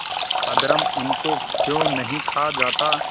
अधर्म उनको क्यों नहीं खा जाता